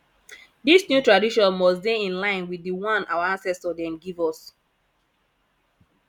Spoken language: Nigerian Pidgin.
dis new tradition must dey in line wit di one our ancestor dem give us